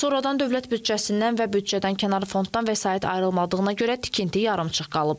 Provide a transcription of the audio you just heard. Sonradan dövlət büdcəsindən və büdcədənkənar fonddan vəsait ayrılmadığına görə tikinti yarımçıq qalıb.